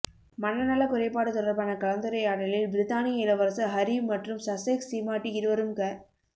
மனநலக் குறைபாடு தொடர்பான கலந்துரையாடலில் பிரித்தானிய இளவரசர் ஹரி மற்றும் சசெக்ஸ் சீமாட்டி இருவரும் க